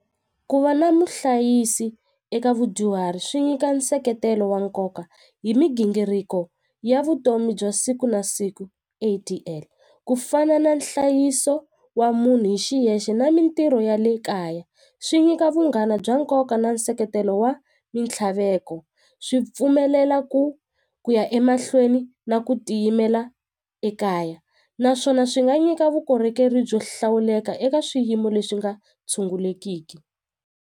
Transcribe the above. Ku va na muhlayisi eka vudyuhari swi nyika nseketelo wa nkoka hi migingiriko ya vutomi bya siku na siku ku fana na nhlayiso wa munhu hi xiyexe na mintirho ya le kaya swi nyika vunghana bya nkoka na nseketelo wa mintlhaveko swi pfumelela ku ku ya emahlweni na ku tiyimela ekaya naswona swi nga nyika vukorhokeri byo hlawuleka eka swiyimo leswi nga tshungulekiki.